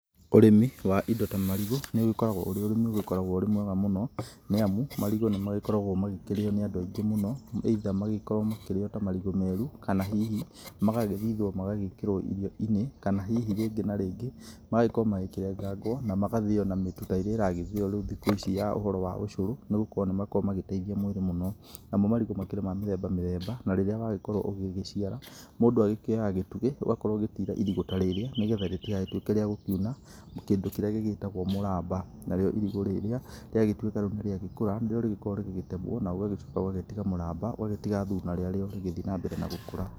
Ũrĩmi wa indo ta marigũ, nĩ ũgĩkoragwo ũrĩ ũrĩmi ũgĩkoragwo ũrĩ mwega mũno, nĩ amu, marigũ nĩ magĩkoragwo magĩkĩrĩo nĩ andũ aingĩ mũno either magĩkorwo makĩrĩo ta marigũ meru kana hihi magagĩthithwo magagĩkĩrwo irio-inĩ kana hihi rĩngĩ na rĩngĩ magagĩkorwo makĩrengagwo na magathĩo ona mĩtũ ta ĩrĩa ĩragĩthĩo rĩu thikũ ici ya ũhoro wa ũcũrũ, nĩ gũkorwo nĩ makoragwo magĩteithia mwĩrĩ mũno. Namo marigũ makĩrĩ ma mĩthemba mĩthemba na rĩrĩa wagĩkorwo ũgĩgĩciara, mũndũ akĩoyaga gĩtugĩ, ũgakorwo ũgĩtiira irigũ ta rĩrĩa nĩ getha rĩtigagĩtuĩke rĩa gũkiuna kĩndũ kĩrĩa gĩgĩĩtagwo mũramba. Na rĩo irigũ rĩrĩa rĩagĩtuĩka rĩu nĩ rĩagĩkũra nĩ rĩo rĩgĩkoragwo rĩgĩgĩtemwo na ũgagĩcoka ũgagĩtiga mũramba ũgagĩtiga thuna rĩa rĩo rĩgĩthi na mbere na gũkũra.